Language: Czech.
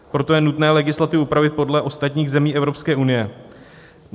Proto je nutné legislativu upravit podle ostatních zemí Evropské unie.